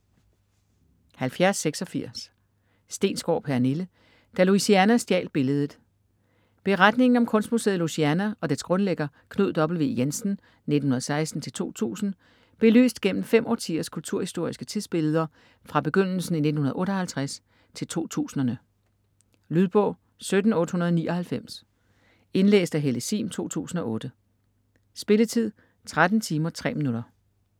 70.86 Stensgaard, Pernille: Da Louisiana stjal billedet Beretningen om kunstmuseet Louisiana og dets grundlægger Knud W. Jensen (1916-2000), belyst gennem fem årtiers kulturhistoriske tidsbilleder fra begyndelsen i 1958 til 2000'erne. Lydbog 17899 Indlæst af Helle Sihm, 2008. Spilletid: 13 timer, 3 minutter.